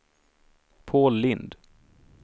Paul Lindh